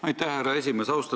Aitäh, härra esimees!